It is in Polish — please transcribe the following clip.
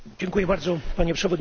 Panie Przewodniczący!